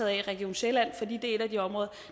af i region sjælland fordi det er et af de områder